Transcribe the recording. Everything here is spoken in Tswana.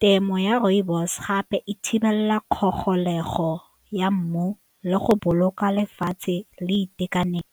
Temo ya rooibos gape e thibela kgogolego ya mmu le go boloka lefatshe le itekanelo.